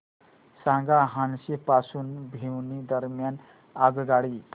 सांगा हान्सी पासून भिवानी दरम्यान आगगाडी